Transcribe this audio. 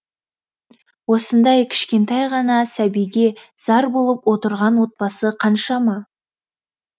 осындай кішкентай ғана сәбиге зар болып отырған отбасы қаншама